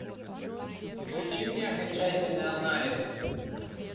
включи мне окончательный анализ